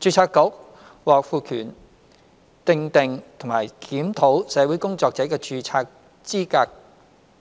註冊局獲賦權訂定和檢討社會工作者的註冊資格